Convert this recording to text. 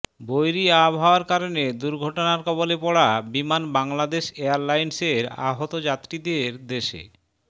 বৈরী আবহাওয়ার কারণে দুর্ঘটনার কবলে পড়া বিমান বাংলাদেশ এয়ারলাইন্সের আহত যাত্রীদের দেশে